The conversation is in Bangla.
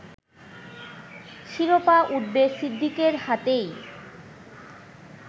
শিরোপা উঠবে সিদ্দিকের হাতেই